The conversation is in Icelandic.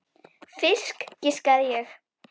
Fisk, giskaði ég.